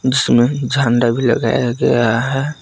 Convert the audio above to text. जिसमें झंडा भी लगाया गया है।